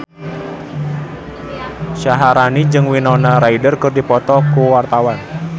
Syaharani jeung Winona Ryder keur dipoto ku wartawan